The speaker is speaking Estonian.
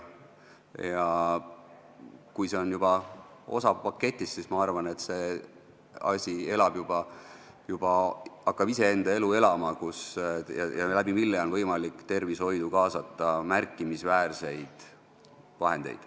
Kui see on juba osa paketist, siis ma arvan, et see asi hakkab enda elu elama ja nii on võimalik tervishoidu kaasata märkimisväärseid vahendeid.